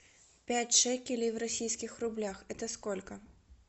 пять шекелей в российских рублях это сколько